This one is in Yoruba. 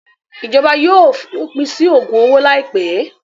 Ìjọba yóò fi òpin sí ògùn owó láìpẹ́.